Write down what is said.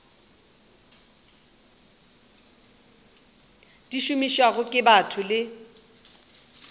di šomišwago ke batho le